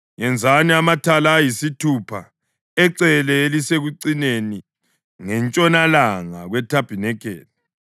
Yenzani amathala ayisithupha ecele elisekucineni ngentshonalanga kwethabanikeli,